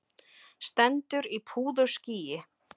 Stendur í púðurskýi.